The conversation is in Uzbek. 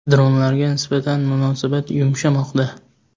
Dronlarga nisbatan munosabat yumshamoqda.